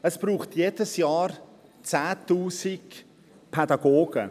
Es braucht jedes Jahr 10 000 Pädagogen;